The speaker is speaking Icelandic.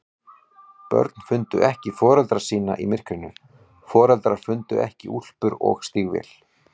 Börn fundu ekki foreldra sína í myrkrinu, foreldrar fundu ekki úlpur og stígvél.